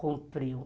Cumpriu.